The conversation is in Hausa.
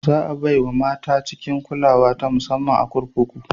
Za a bai wa mata cikin kulawa ta musamman a kurkuku.